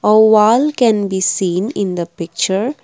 a wall can be seen in the picture.